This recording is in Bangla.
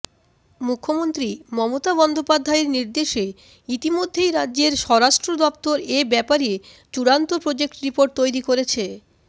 মুখ্যমন্ত্রী মমতা বন্দ্যোপাধ্যায়ের নির্দেশে ইতিমধ্যেই রাজ্যের স্বরাষ্ট্র দফতর এব্যাপারে চূড়ান্ত প্রজেক্ট রিপোর্ট তৈরি করেছে